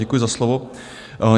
Děkuji za slovo.